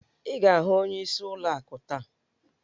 Ị ga-ahụ ọnyeisi ụlọ akụ taa!